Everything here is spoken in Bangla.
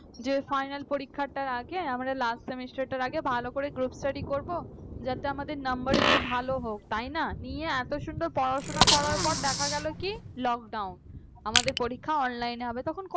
যে final পরীক্ষাটা আগে আমাদের last semester তার আগে ভালো করে group study করব যাতে আমাদের number একটু ভালো হোক নিয়ে তাই না এত সুন্দর পড়াশোনা করার পর দেখা গেল কি lockdown আমাদের পরীক্ষাটা online হবে। তখন কত